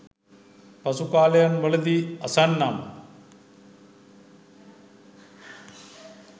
පසු කාලයන්වලදී අසන්නම්.